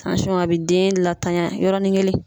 a be den latanya yɔrɔnin kelen